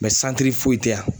santiri foyi tɛ yan.